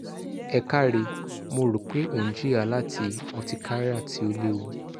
ẹ káre mo ro pe o n jiya lati urticaria ti o lewu